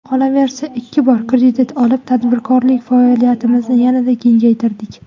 Qolaversa ikki bor kredit olib, tadbirkorlik faoliyatimizni yanada kengaytirdik.